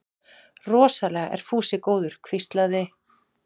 Rosalega er Fúsi góður hvíslaði